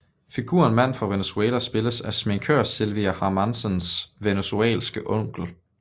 Figuren Mand fra Venezuela spilles af sminkør Silvia Hermansens venezuelanske onkel